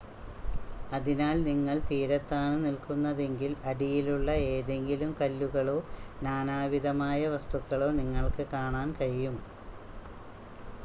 അതിനാൽ നിങ്ങൾ തീരത്താണ് നിൽക്കുന്നതെങ്കിൽ അടിയിലുള്ള ഏതെങ്കിലും കല്ലുകളോ നാനാവിധമായ വസ്തുക്കളോ നിങ്ങൾക്ക് കാണാൻ കഴിയും